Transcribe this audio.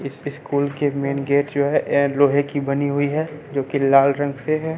इस स्कूल कि main gate जो है और लोहे की बनी हुई है जो कि लाल रंग से है।